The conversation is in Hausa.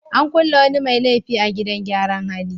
An kulle wani mai laifi a gidan gyaran hali.